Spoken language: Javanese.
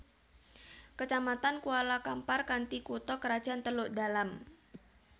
Kecamatan Kuala Kampar kanthi kutha krajan Teluk Dalam